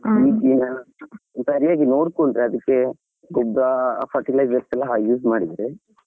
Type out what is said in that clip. ಸರಿಯಾಗಿ ನೋಡ್ಕೊಂಡ್ರೆ ಅದಿಕ್ಕೆ ಗೊಬ್ರ fertilizer ಎಲ್ಲಾ use ಮಾಡಿದ್ರೆ.